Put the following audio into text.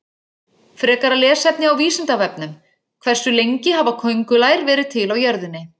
Frekara lesefni á Vísindavefnum: Hversu lengi hafa köngulær verið til á jörðinni?